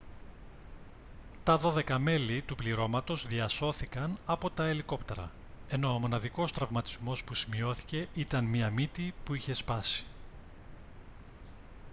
τα δώδεκα μέλη του πληρώματος διασώθηκαν από τα ελικόπτερα ενώ ο μοναδικός τραυματισμός που σημειώθηκε ήταν μια μύτη που είχε σπάσει